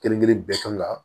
Kelen kelen bɛɛ kan ka